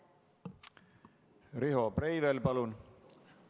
Riho Breivel, palun!